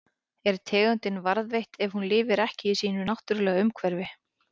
Er tegundin varðveitt ef hún lifir ekki í sínu náttúrulega umhverfi?